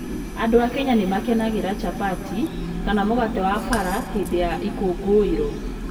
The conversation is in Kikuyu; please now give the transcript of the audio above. Andũ a Kenya nĩ makenagĩra chapati, kana mũgate wa bara, hĩndĩ ya ikũngũĩro.